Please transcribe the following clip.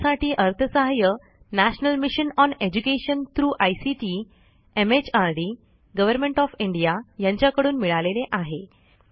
यासाठी अर्थसहाय्य national mission on education through ICT MHRD government of India यांच्याकडून मिळालेले आहे